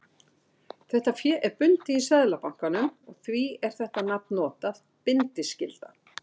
Þetta fé er bundið í Seðlabankanum og því er þetta nafn notað, bindiskylda.